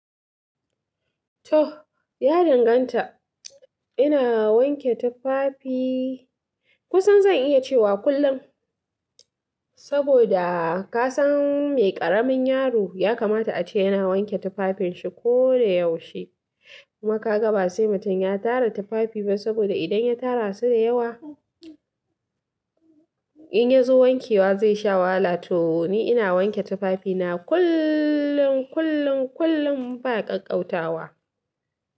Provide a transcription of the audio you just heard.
To ya danganta. Ina wanke tufafi kusan zan iya cewa kullum. Saboda ka san mai ƙaramin yaro ya kamata ace yana wanke tufafin shi ko da yaushe. Kuma kaga ba sai mutum ya tara tufafi saboda idan ya tara su da yawa inya zo wankewa zai sha wahala. To ni ina wanke tufafi na kullum, kullum, kullum ba ƙaƙƙautawa.